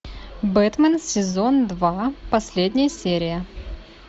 бэтмен сезон два последняя серия